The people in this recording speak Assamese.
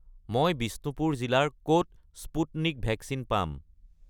মই বিষ্ণুপুৰ জিলাৰ ক'ত স্পুটনিক ভেকচিন পাম?